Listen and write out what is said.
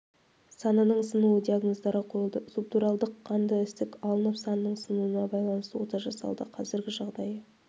санының сынуы диагноздары қойылды субдуралдық қанды ісік алынып санның сынуына байланысты ота жасалды қазіргі жағдайы